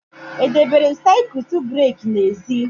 E debere m siakwutu breka n'ezi